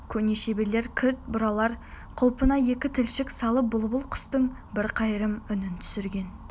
көне шеберлер кілт бұралар құлпына екі тілшік салып бұлбұл құстың бір қайырым үнін түсірген